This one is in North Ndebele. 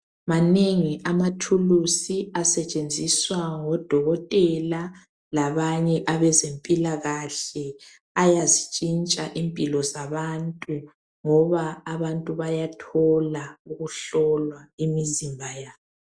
Manengi amathuluzi asetshenziswa ngodokotela labanye abezempilakahle ayazitshintsha impilo zabantu ngoba abantu bayathola ukuhlolwa imizimba yabo.